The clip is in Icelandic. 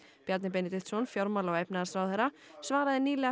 Bjarni Benediktsson fjármála og efnahagsráðherra svaraði nýlega